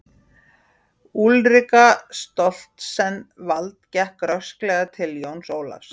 Úlrika Stoltzenwald gekk rösklega til Jóns Ólafs.